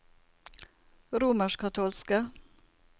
romerskkatolske